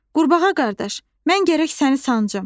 Qurbağa qardaş, mən gərək səni sancım.